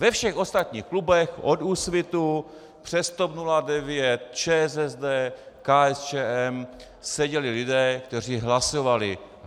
Ve všech ostatních klubech od Úsvitu přes TOP 09, ČSSD, KSČM seděli lidé, kteří hlasovali.